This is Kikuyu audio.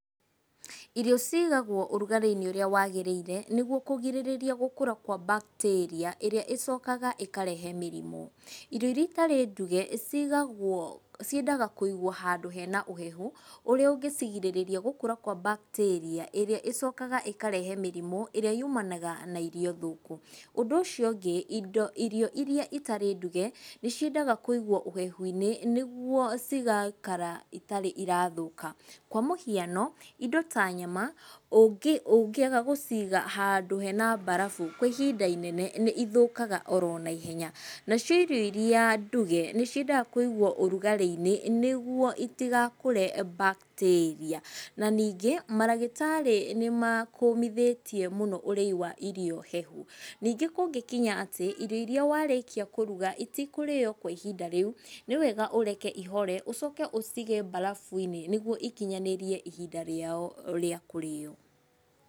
Irio cigagwo ũrugarĩ-inĩ ũrĩa wagĩrĩire nĩguo kũgirĩrĩria gũkũra kwa bakitĩria ĩrĩa ĩcokaga ĩkarehe mĩrimũ. Irio iria itarĩ nduge cigagwo, ciendaga kũigwo handũ hena ũhehu ũrĩa ũngĩcigirĩrĩria gũkũra kwa bakitĩria ĩria ĩcokaga ĩkarehe mĩrimũ ĩria yumanaga na irio thũku. Ũndũ ũcio ũngĩ indo, irio iria itarĩ nduge nĩ ciendaga kũigwo ũhehu-inĩ nĩguo cigaikara itarĩ irathũka, kwa mũhiano, indo ta nyama ũngĩ, ũngĩaga gũciga handũ hena barabu kwa ihinda inene nĩ ithũkaga oro naihenya. Nacio irio iria nduge nĩciendaga kũigwo ũrugarĩ-inĩ nĩguo itigakũre bakitĩria. Na ningĩ maragĩtarĩ nĩmakũmithĩtie mũno ũrĩi wa irio hehu. Ningĩ kũngĩkinya atĩ irio iria warĩkia kũruga itikũrĩo kwa ihinda rĩu, nĩwega ũreke ihore ũcoke ũcige barabu-inĩ, nĩguo ikinyanĩrie ihinda rĩao rĩa kũrĩo.